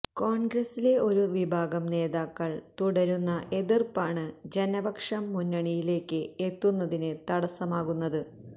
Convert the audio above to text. കോണ്ഗ്രസിലെ ഒരു വിഭാഗം നേതാക്കള് തുടരുന്ന എതിര്പ്പാണ് ജനപക്ഷം മുന്നണിയിലേക്ക് എത്തുന്നതിന് തടസമാകുന്നത്